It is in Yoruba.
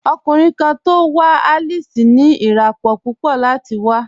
Ọ̀kùnriǹ kan tó wà Alice ní iràpọ̀ púpọ̀ láti wà.